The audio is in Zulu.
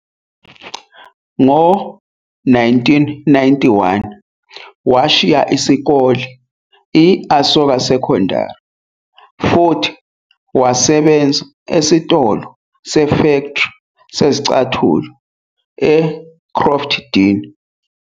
Ngo-1991, washiya isikole i-Asoka Secondary futhi wasebenza esitolo sefektri sezicathulo eCroftdene.